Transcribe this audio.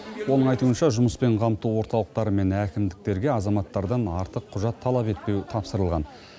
оның айтуынша жұмыспен қамту орталықтары мен әкімдіктерге азаматтардан артық құжат талап етпеу тапсырылған